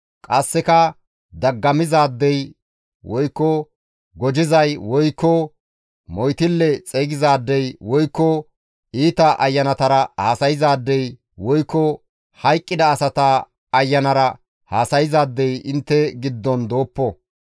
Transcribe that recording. Qasseka daggamizaadey (gojizay), woykko moytille xeygizaadey woykko iita ayanatara haasayzaadey, woykko hayqqida asata ayanara haasayzaadey intte giddon dooppo.